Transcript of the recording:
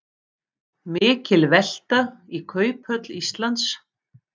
Mikil velta í Kauphöll Íslands